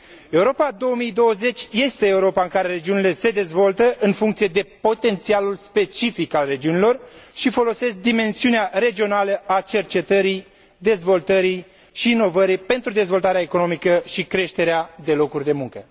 Europa 2020 este Europa în care regiunile se dezvoltă în funcție de potențialul specific al regiunilor și folosesc dimensiunea regională a cercetării, dezvoltării și inovării pentru dezvoltarea economică și creșterea numărului de locuri de muncă.